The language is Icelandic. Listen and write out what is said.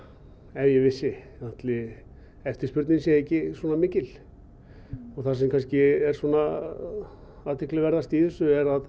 ef ég vissi ætli eftirspurnin sé ekki svona mikil það sem er svona athyglisverðast í þessu er